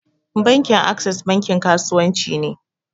Bankin access bankin kasuwanci ne.